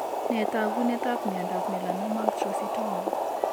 Nee taakunetab myondap Melanoma actrocytoma?